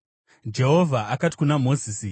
Jehovha akati kuna Mozisi,